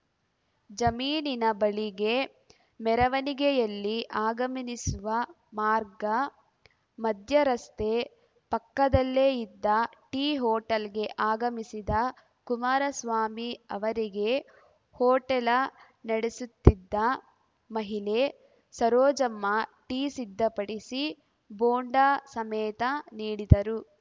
ಜಮೀನಿನ ಬಳಿಗೆ ಮೆರವಣಿಗೆಯಲ್ಲಿ ಆಗಮಿಸುವ ಮಾರ್ಗ ಮಧ್ಯೆ ರಸ್ತೆ ಪಕ್ಕದಲ್ಲೇ ಇದ್ದ ಟೀ ಹೋಟೆಲ್‌ಗೆ ಆಗಮಿಸಿದ ಕುಮಾರಸ್ವಾಮಿ ಅವರಿಗೆ ಹೋಟೆಲ ನಡೆಸುತ್ತಿದ್ದ ಮಹಿಳೆ ಸರೋಜಮ್ಮ ಟೀ ಸಿದ್ಧಪಡಿಸಿ ಬೋಂಡ ಸಮೇತ ನೀಡಿದರು